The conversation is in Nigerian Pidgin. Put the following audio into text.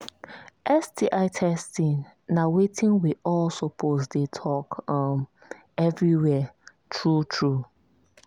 sti testing na watin we all suppose they talk um everywhere true true